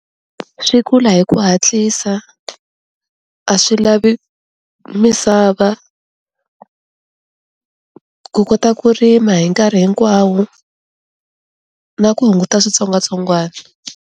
Swi kula hi ku hatlisa a swi lavi misava, ku kota ku rima hi nkarhi hinkwawo na ku hunguta switsongwatsongwana.